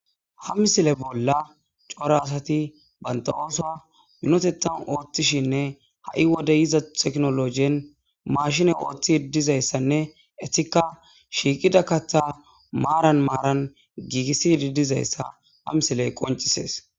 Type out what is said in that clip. Ha misile bolla cora asathi banththa oosuwa minitheththan ooththishinne ha wode yiiza teknooloojen maashine ooththiddi dizayssanne ethikka shiiqida kaththaa maaran maaran giigissiiddi dizayssa ha misilee qonccissees.